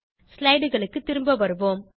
slideகளுக்கு திரும்ப வருவோம்